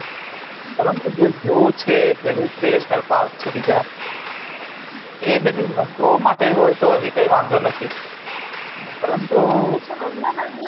કારણ કે જુવો creational પાર્ક છે એ બધી વસ્તુઓં માટે હોય તો હજી વાંધો નથી